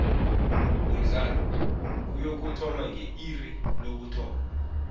umdlalo uyokuthoma nge iri lokuthoma